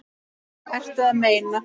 Ertu að meina?